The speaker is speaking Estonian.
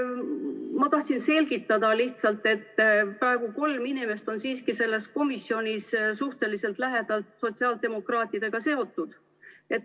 Ma tahtsin lihtsalt selgitada, et praegu kolm inimest on siiski selles komisjonis suhteliselt lähedalt sotsiaaldemokraatidega seotud.